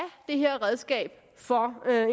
dette redskab for